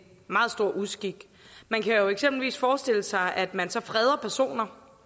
meget stor uskik man kan jo eksempelvis forestille sig at man så freder personer